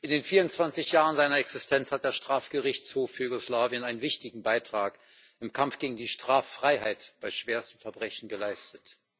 In den 24 Jahren seiner Existenz hat der Strafgerichtshof für Jugoslawien einen wichtigen Beitrag im Kampf gegen die Straffreiheit bei schwersten Verbrechen geleistet.